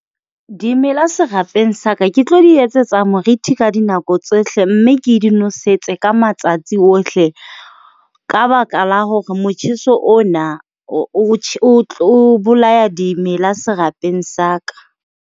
Dimela serapeng sa ka ke tlo di etsetsa moriti ka dinako tsohle, mme ke di nosetso ka matsatsi ohle ka baka la hore motjheso ona o bolaya dimela serapeng sa ka.